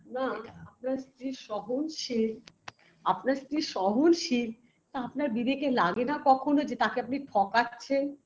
না আপনার স্ত্রী সহনশীল আপনার স্ত্রী সহনশীল তা আপনার বিবেকে লাগে না কখনো যে আপনি তাকে ঠকাচ্ছেন